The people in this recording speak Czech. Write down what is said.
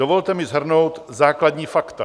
Dovolte mi shrnout základní fakta.